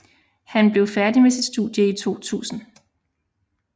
Han blev færdig med sit studie i 2000